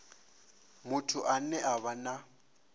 muthu ane a vha na